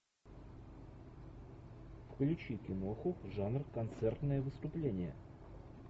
включи киноху жанр концертное выступление